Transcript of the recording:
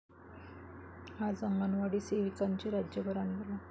आज अंगणवाडी सेविकांचे राज्यभर आंदोलन